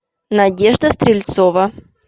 надежда стрельцова